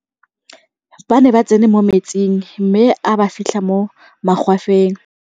ba ne ba tsene mo metsing mme a ba fitlha mo magwafeng